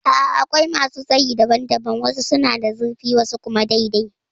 A'a akwai masu tsayi daban daban. Wasu suna da zurfi wasu kuma dai dai